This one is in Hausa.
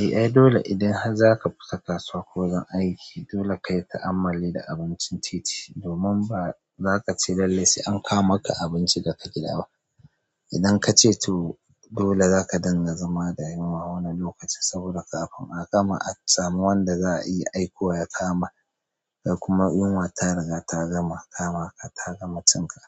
Eh ai dole idan har zaka fita kasuwa ko wajen aiki dole kayi ta'ammali da abincin titi domin ba zaka ce lallai sai an kawo maka abincin da ka gidaba. Idan ka ce tu dole zaka danganta zama da yunwa wani lokaci saboda kafin a kama a samu wanda za a iya aiko ya kawo ma kai kuma yunwa ta riga ta gama kama ka ta gama cin ka.